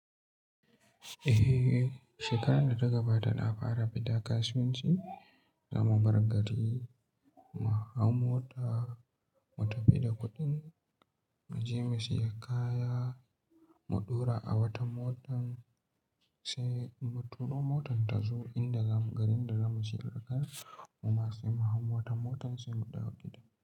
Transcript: Eh, shekarar da ta gabata na fara fita kasuwanci. Zamu bar gari mu hau mota, mu tafi da kuɗin, mu je mu siya kaya, mu ɗaura a wata mota sai mu turo motar ta zo inda garin da zamu shirya kayan mu masu mu hau mota, motar sai mu ɗauki ta.